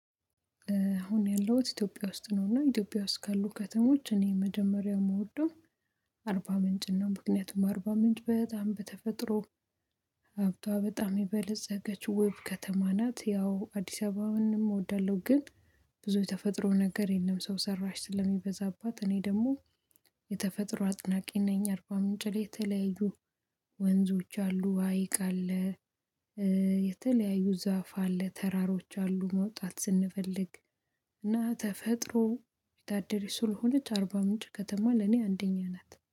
አሁን ያለሁት ኢትዮጵያ ውስጥ ነው። እና ኢትዮጵያ ውስጥ ካሉ ከተሞች እኔ መጀመሪያው የምወደው አርባ ምንጭን ነው። ምክንያቱም አርባ ምንጭ በጣም በተፈጥሮ ሀብቷ በጣም የበለፀገች ውብ ከተማ ናት። ያው አዲስ አበባንም እወዳለሁ፤ ግን ብዙ የተፈጥሮ ነገር የለም። ሰው ሰራሽ ስለሚበዛባት፤ እኔ ደግሞ የተፈጥሮ አድናቂ ነኝ። አርባ ምንጭ ላይ የተለያዩ ወንዞች አሉ፣ ሀይቅ አለ፣ የተለያዩ ዛፍ አለ፣ ተራሮች አሉ መውጣት ስንፈልግ እና ተፈጥሮ የታደለች ስልሆነች አርባ ምንጭ ከተማ ለኔ አንደኛ ናት።